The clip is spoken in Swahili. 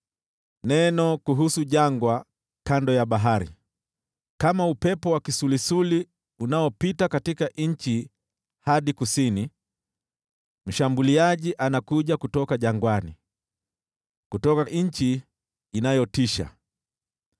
Neno kuhusu Jangwa kando ya Bahari: Kama upepo wa kisulisuli unaopita katika nchi hadi kusini, mshambuliaji anakuja kutoka jangwani, kutoka nchi inayotisha.